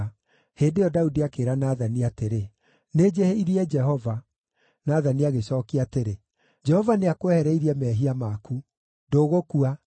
Hĩndĩ ĩyo Daudi akĩĩra Nathani atĩrĩ, “Nĩnjĩhĩirie Jehova.” Nathani agĩcookia atĩrĩ, “Jehova nĩakwehereirie mehia maku. Ndũgũkua.